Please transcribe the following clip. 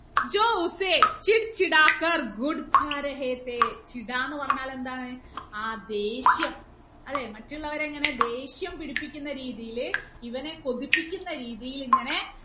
എന്ന് പറഞ്ഞാൽ എന്താണ് ആ ദേഷ്യം മറ്റുള്ളവരെ ഇങ്ങനെ ദേഷ്യം പിടിപ്പിക്കുന്ന രീതിയില് ഇവനെ കൊതിപ്പിക്കുന്ന രീതിയിൽ ഇങ്ങനെ